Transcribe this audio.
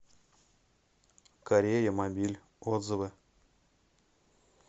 кореямобиль отзывы